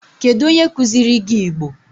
Kedu onye kuziri gi Igbo?